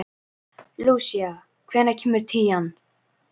Lúsía, hvenær kemur tían?